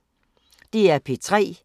DR P3